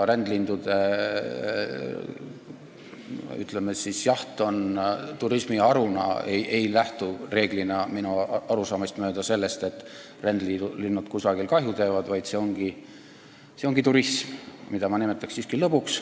Rändlindude jaht turismiharuna ei lähtu reeglina minu arusaamist mööda sellest, et rändlinnud kusagil kahju teevad, vaid see ongi turism, mida ma nimetaks siiski lõbuks.